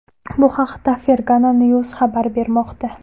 Bu haqda Fergana news xabar bermoqda .